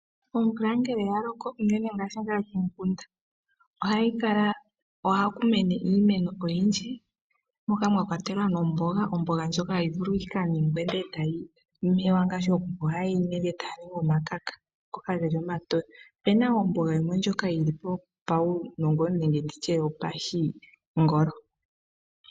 Omvula ngele ya loko, unene ngaashi ngaa komikunda, ohaku mene iimeno oyindji moka mwa kwatelwa nomboga, omboga ndjoka hayi vulu oku muwa, etayi yandwa omakaka ngoka geli omatoye. opuna wo omboga ndjoka yili po yopashingolo.